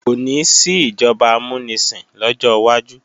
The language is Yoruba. Kò ní sí ìjọba amúnisìn lọ́jọ́ wájú